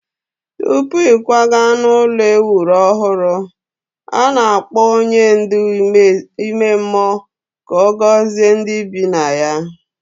Tupu ịkwaga n'ụlọ e wuru ọhụrụ, a na-akpọ onye ndu ime mmụọ ka ọ gọzie ndị bi na ya.